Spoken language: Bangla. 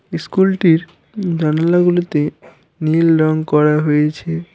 স্কুলটির জানালাগুলিতে নীল রং করা হয়েছে।